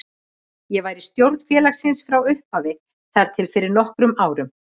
Ég var í stjórn félagsins frá upphafi þar til fyrir nokkrum árum.